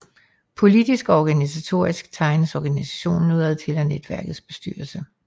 Poltisk og organisatorisk tegnes organistionen udadtil af netværkets bestyrelse